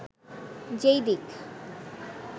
যে-ই দিক